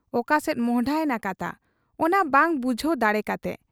ᱚᱠᱟᱥᱮᱫ ᱢᱚᱸᱦᱰᱟᱭᱮᱱᱟ ᱠᱟᱛᱷᱟ, ᱚᱱᱟ ᱵᱟᱝ ᱵᱩᱡᱷᱟᱹᱣ ᱫᱟᱲᱮ ᱠᱟᱛᱮ ᱾